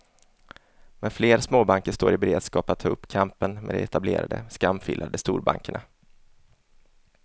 Men fler småbanker står i beredskap att ta upp kampen med de etablerade, skamfilade storbankerna.